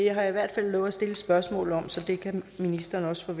har i hvert fald lovet at stille et spørgsmål om det så det kan ministeren også